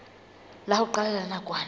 la ho qala la nakwana